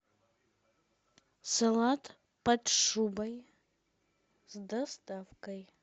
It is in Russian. салат под шубой с доставкой